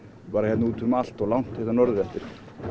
bara hérna út um allt og langt hérna norður eftir